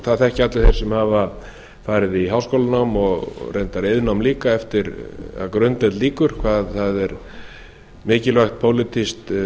það þekkja allir þeir sem hafa farið í háskólanám og reyndar iðnnám líka eftir að grunndeild lýkur hvað það er mikilvægt pólitískt